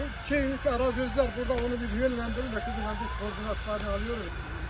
Çox şeylik, arazilər burda, onu bir yönləndirin də, koordinatlarını alırıq.